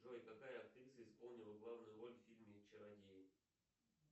джой какая актриса исполнила главную роль в фильме чародей